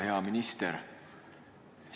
Hea minister!